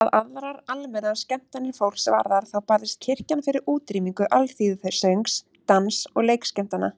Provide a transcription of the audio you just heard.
Hvað aðrar almennar skemmtanir fólks varðar þá barðist kirkjan fyrir útrýmingu alþýðusöngs, dans- og leikskemmtana.